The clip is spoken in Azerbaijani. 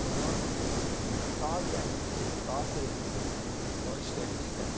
Onlar biz daha gənc, daha perspektivli, daha istəkli.